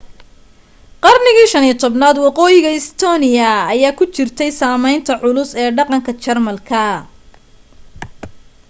qarniga 15aad waqooyiga estonia ayaa ku jirtay saamaynta culus ee dhaqanka jermanka